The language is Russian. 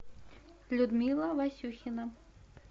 людмила васюхина